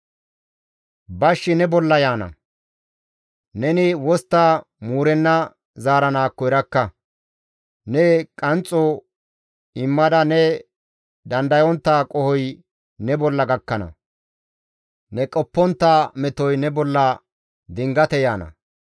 Bashshi ne bolla yaana; neni wostta muurenna zaaranaakko erakka; ne qanxxo immada ne dandayontta qohoy ne bolla gakkana. Ne qoppontta metoy ne bolla dingate yaana.